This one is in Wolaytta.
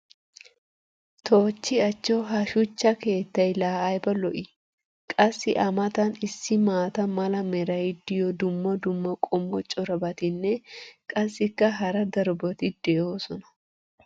toochchi achcho! ha shuchcha keettay laa ayba lo'ii? qassi a matan issi maata mala meray diyo dumma dumma qommo corabatinne qassikka hara darobatti doosona.